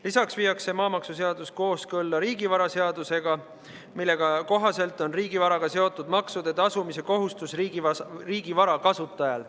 Lisaks viiakse maamaksuseadus kooskõlla riigivaraseadusega, mille kohaselt on riigivaraga seotud maksude tasumise kohustus riigivara kasutajal.